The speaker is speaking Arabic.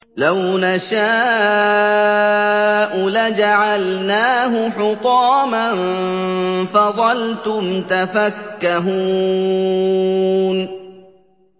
لَوْ نَشَاءُ لَجَعَلْنَاهُ حُطَامًا فَظَلْتُمْ تَفَكَّهُونَ